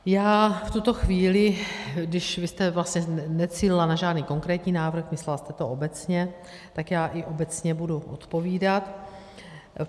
Já v tuto chvíli, když vy jste vlastně necílila na žádný konkrétní návrh, myslela jste to obecně, tak já i obecně budu odpovídat.